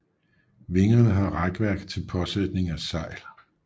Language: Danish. Vingerne har hækværk til påsætning af sejl